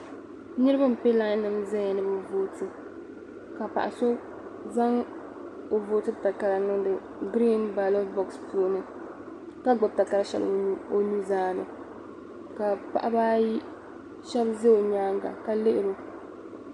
Niriba n pe laai nim ʒia ni bɛ vooti ka paɣa so zaŋ o vootibu takara niŋdi griin baaloti bogusi puuni ka gbubi takara shɛli o nu zaani ka paɣa ba ayi shɛbi za o nyaaŋa ka lihiri o.